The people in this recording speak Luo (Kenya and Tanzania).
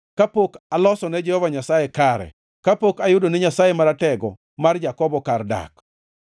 kapok aloso ne Jehova Nyasaye kare, kapok ayudo ne Nyasaye Maratego mar Jakobo kar dak.”